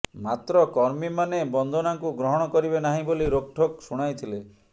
ମାତ୍ର କର୍ମୀମାନେ ବନ୍ଦନାଙ୍କୁ ଗ୍ରହଣ କରିବେ ନାହିଁ ବୋଲି ରୋକ୍ଠୋକ୍ ଶୁଣାଇଥିଲେ